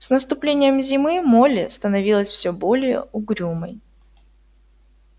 с наступлением зимы молли становилась все более угрюмой